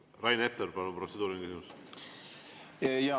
Rain Epler, palun, protseduuriline küsimus!